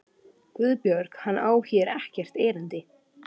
GUÐBJÖRG: Hann á hér ekkert erindi.